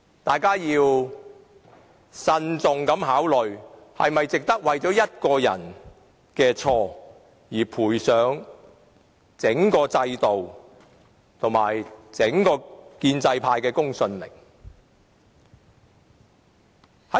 大家要慎重考慮是否值得為一個人的錯誤而賠上整個制度，以及整個建制派的公信力。